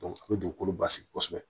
a bɛ dugukolo basigi kosɛbɛ